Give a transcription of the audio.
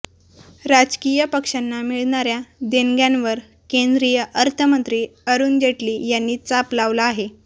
राजकीय पक्षांना मिळणाऱ्या देणग्यांवर केंद्रीय अर्थमंत्री अरुण जेटली यांनी चाप लावला आहे